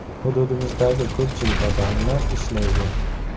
Hududimizdagi ko‘pchilik ota-onalar ishlaydi.